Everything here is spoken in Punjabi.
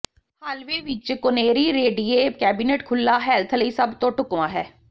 ਹਾਲਵੇਅ ਵਿੱਚ ਕੋਨੇਰੀ ਰੇਡੀਏ ਕੈਬਨਿਟ ਖੁੱਲ੍ਹਾ ਹੈਲਥ ਲਈ ਸਭ ਤੋਂ ਢੁਕਵਾਂ ਹੈ